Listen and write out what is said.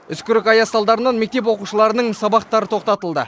үскірік аяз салдарынан мектеп оқушыларының сабақтары тоқтатылды